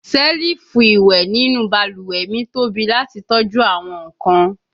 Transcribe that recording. selifu iwẹ ninu baluwe mi tobi lati tọju awọn nkan